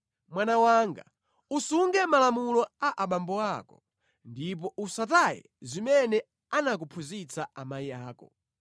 Mwana wanga, usunge malamulo a abambo ako; ndipo usataye zimene anakuphunzitsa amayi ako.